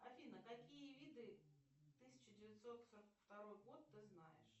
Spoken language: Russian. афина какие виды тысяча девятьсот сорок второй год ты знаешь